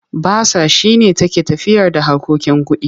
Basa shi ne take tafiyarda harkokin kuɗi.